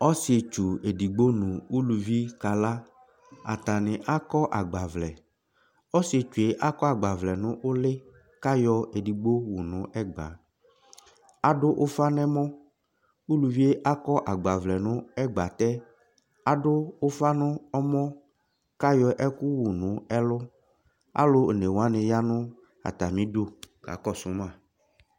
Ɔsitsu ɛdigbo nʋ ʋlʋvi kala Atani akɔ agbavlɛ Ɔsitsu e akɔ agbavlɛ nʋ ʋli kʋ ayɔ ɛdigbo yɔwu nʋ ɛgba Adʋ ʋfa n'ɛmɔ Uluvie akɔ agbavlɛ nʋ agbatɛ, adʋ ʋfa n'ɛmɔ kʋ ayɔ ɛkʋ yɔwu nʋ ɛlʋ Alʋ one wani ya nʋ atami idu kakɔsʋ ma